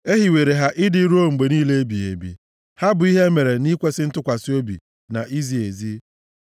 E hiwere ha ịdị ruo mgbe niile ebighị ebi, ha bụ ihe e mere nʼikwesị ntụkwasị obi na izi ezi.